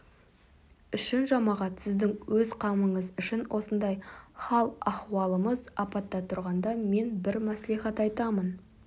үшін жамағат сіздің өз қамыңыз үшін осындай хал-ахуалымыз апатта тұрғанда мен бір мәслихат айтамын